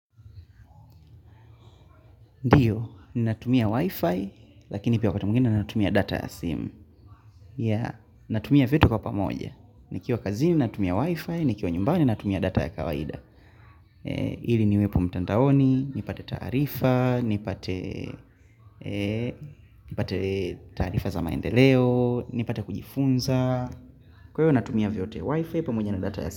Ndiyo, ninatumia wifi, lakini pia wakati mwingine natumia data ya sim. Yeah, natumia vyote kwa pamoja. Nikiwa kazini, natumia wifi, nikiwa nyumbani, natumia data ya kawaida. Ili niwepo mtandaoni, nipate taarifa, nipate nipate taarifa za maendeleo, nipate kujifunza. Kwa hivyo natumia vyote wifi, pamoja na data ya sim.